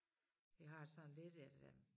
Vi har det sådan lidt at øh